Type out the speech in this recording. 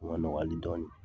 o ma nɔgɔ hali dɔɔnin.